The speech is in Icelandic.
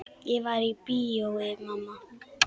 Ég var í bíói mamma.